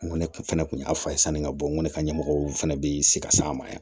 N ko ne kun fɛnɛ kun y'a fɔ a ye sanni ka bɔ n ko ne ka ɲɛmɔgɔw fɛnɛ bɛ sikas'a ma yan